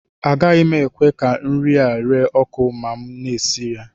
Agaghị m ekwe ka nri ahụ ree ọkụ ma m na-esi nri